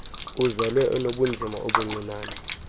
uzelwe enobunzima obuncinane